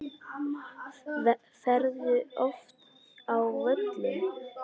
Ferðu oft á völlinn?